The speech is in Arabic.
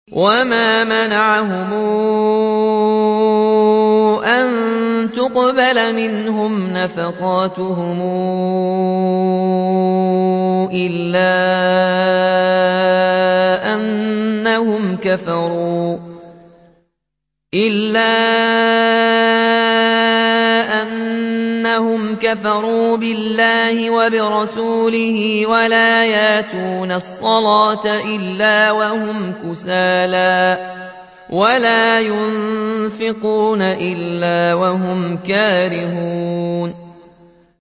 وَمَا مَنَعَهُمْ أَن تُقْبَلَ مِنْهُمْ نَفَقَاتُهُمْ إِلَّا أَنَّهُمْ كَفَرُوا بِاللَّهِ وَبِرَسُولِهِ وَلَا يَأْتُونَ الصَّلَاةَ إِلَّا وَهُمْ كُسَالَىٰ وَلَا يُنفِقُونَ إِلَّا وَهُمْ كَارِهُونَ